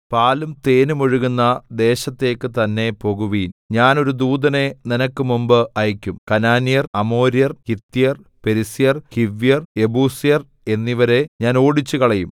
പാലും തേനും ഒഴുകുന്ന ദേശത്തേക്ക് തന്നേ പോകുവിൻ ഞാൻ ഒരു ദൂതനെ നിനക്ക് മുമ്പ് അയക്കും കനാന്യൻ അമോര്യൻ ഹിത്യൻ പെരിസ്യൻ ഹിവ്യൻ യെബൂസ്യൻ എന്നിവരെ ഞാൻ ഓടിച്ചുകളയും